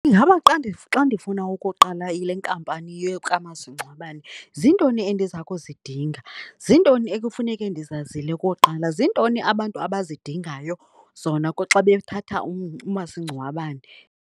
Ingaba xa ndifuna ukuqala le nkampani kamasingcwabane zintoni endiza kuzidinga, zintoni ekufuneke ndizazile koqala, zintoni abantu abazidingayo zona xa bethatha umasingcwabane.